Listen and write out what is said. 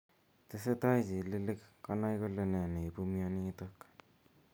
Tesetai chililiik konai kole nee neibu mionitok.